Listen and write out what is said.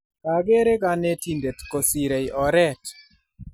kakere kanetindet kosrei oret